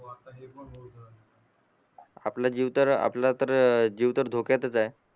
आपला जीव तर आपला तर जीव तर धोक्यातच आहे